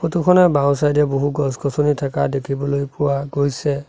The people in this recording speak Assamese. ফটো খনৰ বাওঁ চাইড এ বহু গছ গছনি থাকা দেখিবলৈ পোৱা গৈছে।